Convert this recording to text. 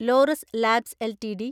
Laureus Labs LTD